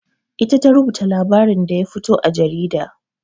Ita ta rubuta labarin da ya fito a jarida.